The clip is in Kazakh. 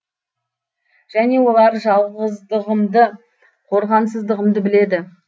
және олар жалғыздығымды қорғансыздығымды біледі